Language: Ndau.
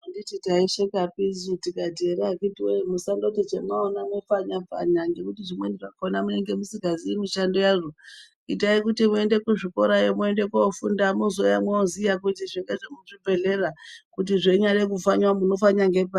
Anditi taishekapi tikati ere akiti woye musandoti chamwaona mwo pfanyapfanya ngekuti zvimweni zvakona munenge musikaziyi mushando yazvo itayi kuti muende kuzvikorayo mwoende kofunda mwozouya mwooziya kuti izvi ngezve muchibhehlera, kuti zveinyade kupfanya munopfanya ngepari...